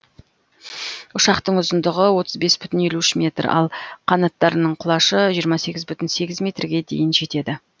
ұшақтың ұзындығы отыз бес бүтін елу үш метр ал қанаттарының құлашы жиырма сегіз бүтін сегіз метрге дейін жетеді